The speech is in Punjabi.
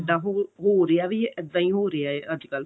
ਇੱਦਾਂ ਹੋ ਰਿਹਾ ਵੀ ਇੱਦਾਂ ਹੀ ਹੋ ਰਿਹਾ ਅੱਜਕਲ